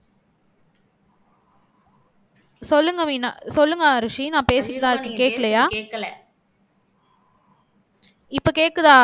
சொல்லுங்க மீனா சொல்லுங்க அரூசி நான் பேசினதா இருக்கு. கேட்கலையா இப்ப கேட்குதா